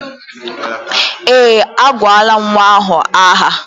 Eé, agụọla nnwa ahụ aha.